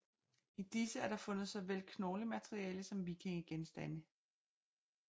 I disse er der fundet såvel knoglemateriale som vikingegenstande